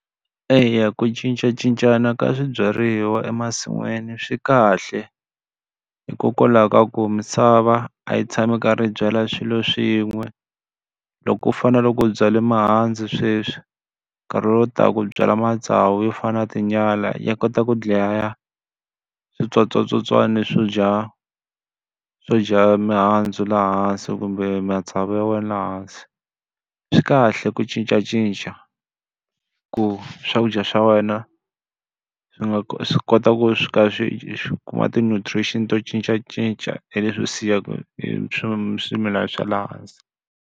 Eya ku cincacincana ka swibyariwa emasin'wini swi kahle, hikokwalaho ka ku misava a yi tshami yi karhi yi byala swilo swin'we. Loko ku fanele loko u byale mihandzu sweswi minkarhi lowu taka u byala matsavu yo fana na tinyala ya kota ku dlaya switsotswana swo dya swo dya mihandzu laha hansi kumbe matsavu ya wena hansi. Swi kahle ku cincacinca, ku swakudya swa wena swi nga swi kota ku swi ka swi swi kuma ti nutrients to cincacinca hi leswi siyaka hi hi swimilana swa le hansi.